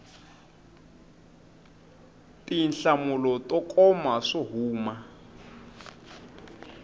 tinhlamulo to koma swo huma